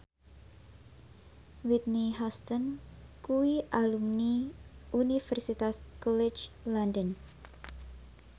Whitney Houston kuwi alumni Universitas College London